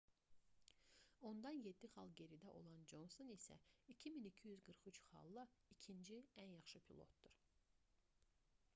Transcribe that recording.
ondan 7 xal geridə olan conson isə 2243 xalla ikinci ən yaxşı pilotdur